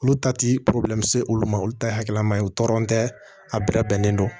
Olu ta ti se olu ma olu ta ye hakilina ma ye u tɔɔrɔ tɛ a birinnen don